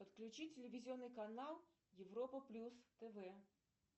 подключи телевизионный канал европа плюс тв